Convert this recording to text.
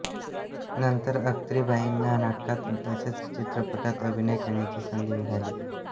नंतर अख्तरीबाईंना नाटकांत तसेच चित्रपटांत अभिनय करण्याची संधी मिळाली